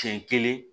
Siɲɛ kelen